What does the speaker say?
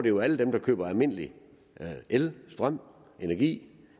jo alle dem der køber almindelig el strøm energi